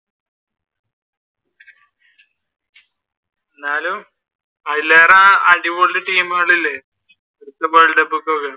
എന്നാലും അതിലേറെ അടിപൊളി ടീമുകൾ ഇല്ലേ world cup